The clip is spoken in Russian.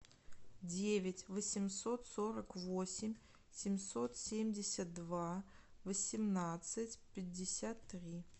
девять восемьсот сорок восемь семьсот семьдесят два восемнадцать пятьдесят три